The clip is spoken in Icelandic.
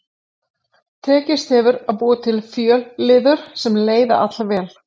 Tekist hefur að búa til fjölliður sem leiða allvel.